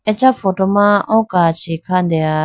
acha photo ma oo kachi khandeha.